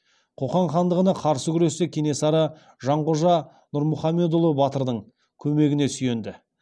қоқан хандығына қарсы күресте кенесары жанқожа нұрмұхамедұлы батырдың көмегіне сүйенді